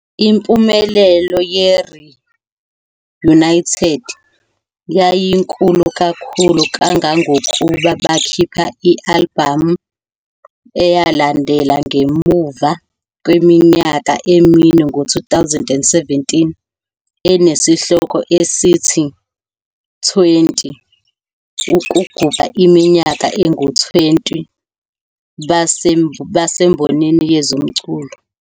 Impumelelo "yeReunited" yayinkulu kakhulu kangangokuba bakhipha i-albhamu eyalandela ngemuva kweminyaka emine ngo-2017 enesihloko esithi "20" ukugubha iminyaka engu-20 basembonini yezomculo.